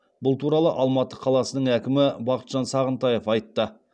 бұл туралы алматы қаласының әкімі бақытжан сағынтаев айтты